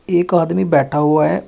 एक आदमी बैठा हुआ है।